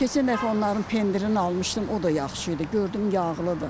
Keçən dəfə onların pendirini almışdım, o da yaxşı idi, gördüm yağlıdır.